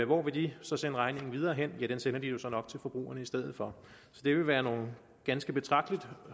hvor vil de så sende regningen videre hen ja den sender de jo så nok til forbrugerne i stedet for så det vil være nogle ganske betragteligt